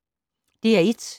DR1